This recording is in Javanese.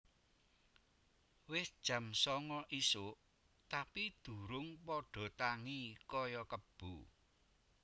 Wis jam songo isuk tapi durung podo tangi koyo kebo